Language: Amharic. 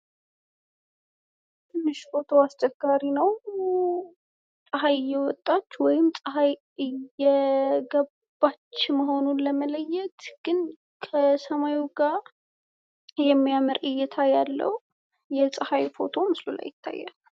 ትንሽ ቦታው አስቸጋሪ ነው ፤ ፀሀይ እየወጣች ወይም ፀሀይ እየገባች መሆኑን ለመለየት ግን ከሰማዩ ጋር የሚያምር እይታ ያለው የፀሀይ ፎቶ ምስሉ ላይ ይታያል።